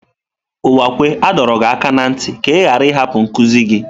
Uwakwe a dọrọ gị aka na ntị ka ị ghara ịhapụ nkuzi gị!